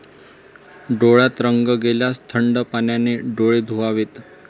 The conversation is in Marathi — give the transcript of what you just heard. डोळ्यात रंग गेल्यास थंड पाण्याने डोळे धुवावेत.